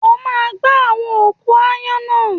O máa gba àwọn òkú aáyán náà!